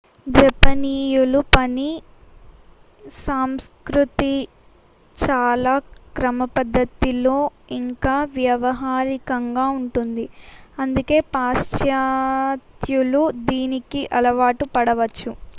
జపనీయుల పని సంస్కృతి చాలా క్రమపద్ధతిలో ఇంకా వ్యావహారికంగా ఉంటుంది అందుకే పాశ్చాత్త్యులు దీనికి అలవాటు పడవచ్చు